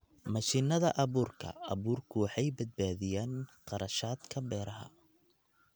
Mashiinnada abuurka abuurku waxay badbaadiyaan kharashaadka beeraha.